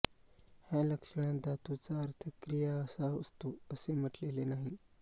ह्या लक्षणात धातूचा अर्थ क्रिया हा असतो असे म्हटलेले नाही